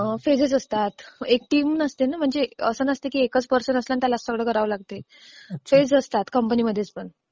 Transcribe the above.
Phases असतात. एक team नसते ना म्हणजे असं नसतं ना की एकच पर्सन असते आणि त्याला सगळं करावं लागतं. फेज असतात कंपनीमध्ये पण.